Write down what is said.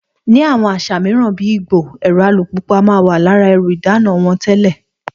Ní àwọn àṣà mìíràn bí Ìgbò, ẹ̀rọ alùpùpù a máa wà lára ẹrù ìdána wọn tẹ́lẹ̀